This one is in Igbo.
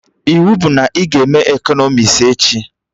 Iwu bụ na ị ga eme ekọnọmis echi!